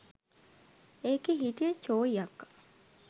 එකේ හිටිය චෝයි අක්කා